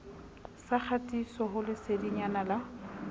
sa kgatiso ho lesedinyana la